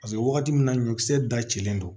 Paseke wagati min na ɲɔkisɛ da cilen don